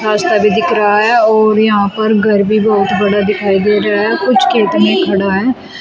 रास्ता भी दिख रहा है और यहां पर घर भी बहुत बड़ा दिखाई दे रहा है। कुछ खेत में खड़ा है।